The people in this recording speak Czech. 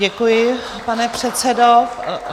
Děkuji, pane předsedo.